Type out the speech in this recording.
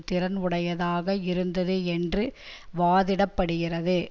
திறன் உடையதாக இருந்தது என்று வாதிடப்படுகிறது